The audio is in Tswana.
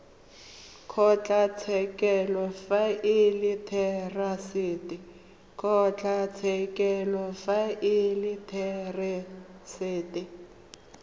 kgotlatshekelo fa e le therasete